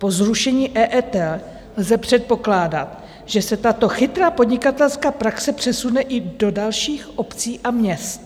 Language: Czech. Po zrušení EET lze předpokládat, že se tato chytrá podnikatelská praxe přesune i do dalších obcí a měst.